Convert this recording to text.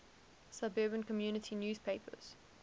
suburban community newspapers